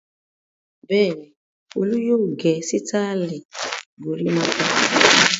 Bẹ́ẹ̀ ni, Olú yóò gẹ sítáálì gorímápá.